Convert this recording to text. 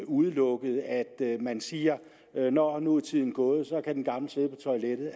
udelukket altså at man siger at nå nu er tiden gået så kan den gamle sidde på toilettet